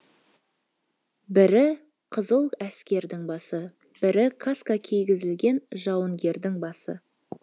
бірі қызыл әскердің басы бірі каска кигізілген жауынгердің басы